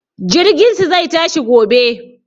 Jirginsu zai tashi gobe.